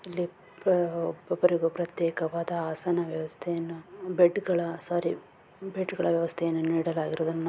ಇಲ್ಲಿ ಒಬ್ಬರಿಗೊಬ್ಬರ ಪ್ರತೇಕವಾದ ಆಸನ ವ್ಯವಸ್ಥೆಯನ್ನು ಬೆಡ್ಗಳ ಸೋರಿ ಬೆಡ್ಗಳ ವ್ಯವಸ್ಥೆಯನ್ನು ನೀಡಲಾಗಿರುವದನ್ನು --